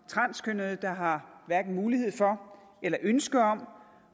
transkønnede har mulighed for eller ønske om